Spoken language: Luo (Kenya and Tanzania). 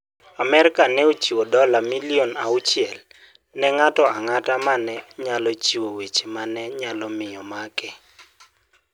Amerka ne ochiwo dola milion auchiel ne ng'ato ang'ata ma ne nyalo chiwo weche ma ne nyalo miyo omake.